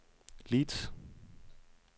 Leeds